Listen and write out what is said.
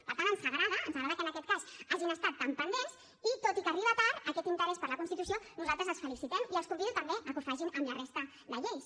per tant ens agrada ens agrada que en aquest cas hagin estat tan pendents i tot i que arriba tard aquest interès per la constitució nosaltres els felicitem i els convido també a que ho facin amb la resta de lleis